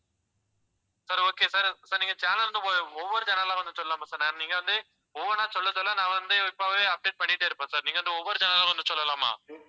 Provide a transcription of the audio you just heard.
sir, okay sir, sir நீங்க channel வந்து ஒ~ ஒவ்வொரு channel ஆ வந்து சொல்லலாமா sir நீங்க வந்து ஒவ்வொண்ணா சொல்ல சொல்ல நான் வந்து இப்பவே update பண்ணிட்டே இருப்பேன் sir. நீங்க வந்து ஒவ்வொரு channel லா வந்து சொல்லலாமா